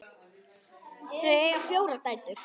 Þau eiga fjórar dætur.